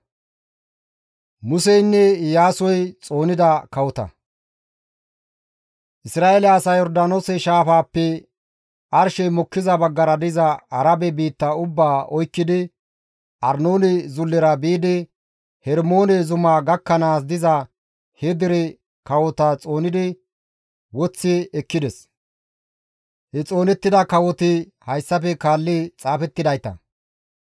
Isra7eele asay Yordaanoose shaafaappe arshey mokkiza baggara diza Arabe biitta ubbaa oykkidi Arnoone zullera biidi Hermoone zumaa gakkanaas diza he dere kawota xoonidi woththi ekkides. He xoonettida kawoti hayssafe kaalli xaafettidayta.